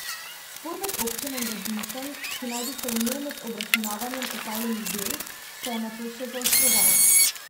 Spor med občino in gradbincem, ki naj bi se vnel med obračunavanjem opravljenih del, se je nato še zaostroval.